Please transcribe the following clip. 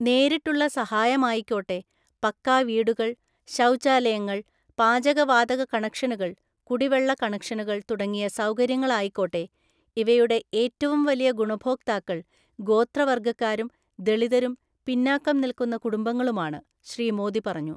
നേരിട്ടുള്ള സഹായമായിക്കോട്ടെ പക്കാ വീടുകള്‍, ശൗച്യാലയങ്ങള്‍, പാചകവാതക കണക്ഷനുകള്‍, കുടിവെള്ള കണക്ഷനുകള്‍ തുടങ്ങിയ സൗകര്യങ്ങളായിക്കോട്ടെ, ഇവയുടെ ഏറ്റവും വലിയ ഗുണഭോക്താക്കള്‍ ഗോത്രവര്ഗ്ഗക്കാരും ദളിതരും പിന്നാക്കം നില്ക്കുന്ന കുടുംബങ്ങളുമാണ്, ശ്രീ മോദി പറഞ്ഞു.